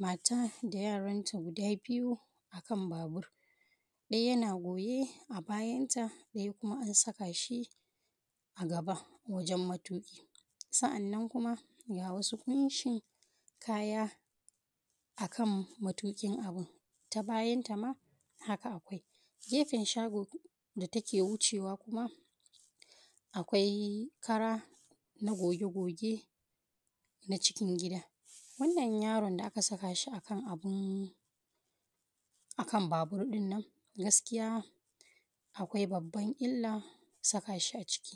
Mata da yaranta guda biyu a kan babur. Ɗaya yana goye a bayanta ɗaya kuma an saka shi a gaba wajen matuƙi. Sa'annan kuma ga wasu ƙunshin kaya, a kan matuƙin abun, ta bayanta ma haka akwai, gefen shagon da take wucewa kuma, akwai kara na goge-goge na cikin gida. Wannan yrn da aka saka shi a kan abun, kan babur ɗin nan gaskiya akwai babban illa saka shi a ciki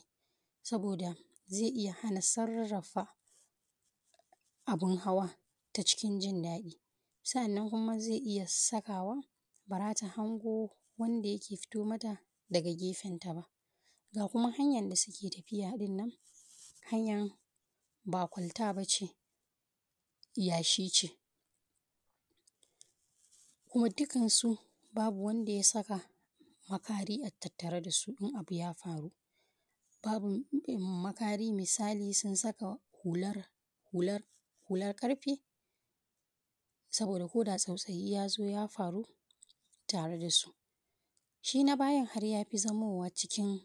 saboda zai iya hana sarrafa, abun hawa ta cikin jin daɗi.. Sa'annan kuma zai iya sakawa ba za ta hango wanda yake fito mata daga gefen ta ba. Ga kuma hanyan da suke tafiya ɗinnan, hanyan ba kwalta ba ce, yashi ce. Kuma dukansu babu wanda ya saka makari a tattare da su in abu ya faru. Babu makari misali sun saka hular hular hular ƙarfe, saboda ko da tsautsayi ya zo ya faru tare da su. Shi na bayan har ya fi zamowa cikin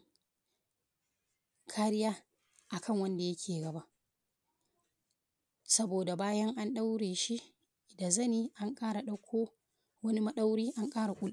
kariya a kan wanda ya ke gaba, saboda bayan an ɗaure shi da zani an kara ɗauko wani maɗauri an ƙara ku.